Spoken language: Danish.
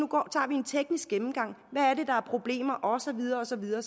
teknisk gennemgang og af problemer og så videre og så videre